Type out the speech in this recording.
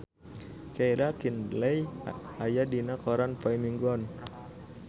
Keira Knightley aya dina koran poe Minggon